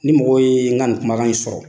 Ni mɔgɔw ye n ka nin kumakan in sɔrɔ,